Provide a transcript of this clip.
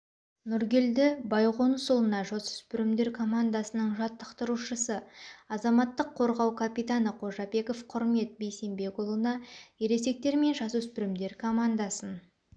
нұргелді байғонысұлына жасөспірімдер командасының жаттықтырушысы азаматтық қорғау капитаны қожабеков құрмет бейсембекұлына ересектер мен жасөспірімдер командасын